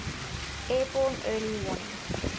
airborne early warning